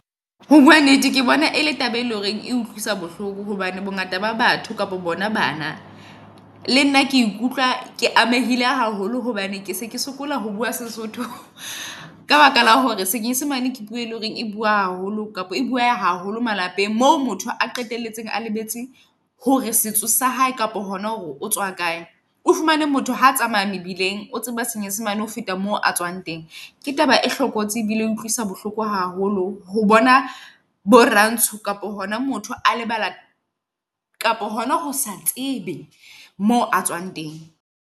Ho bua nnete, ke bona ele taba e leng hore e utlwisa bohloko hobane bo ngata ba batho kapo bona bana. Le nna ke ikutlwa ke amehile haholo hobane ke se ke sokola ho bua Sesotho. Ka baka la hore senyesemane ke puo e leng hore e bua haholo kapa e bueha haholo malapeng. Moo motho a qetelletse a lebetse hore setso sa hae kapo hona hore o tswa kae. O fumane motho ha tsamaya mebileng, o tseba senyesemane. Ho feta moo a tswang teng. Ke taba e hlokolosi e bile e utlwisang bohloko haholo ho bona bo rantsho kapa hona motho a lebala kapa hona ho sa tsebe mo a tswang teng.